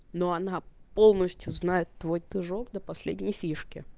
но она полностью знает твой движок до последней фишки